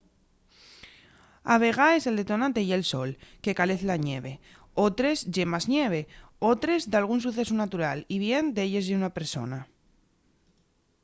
a vegaes el detonante ye'l sol que calez la ñeve otres ye más ñeve otres dalgún sucesu natural y bien d'elles ye una persona